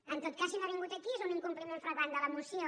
en tot cas si no ha vingut aquí és un incompliment flagrant de la moció